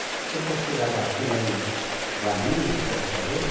Também para você chegar daqui lá em Valinhos, que era fazenda,